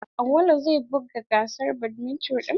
Auwalu zai buga gasar badminto din.